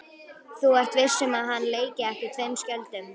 Þú ert viss um að hann leiki ekki tveim skjöldum?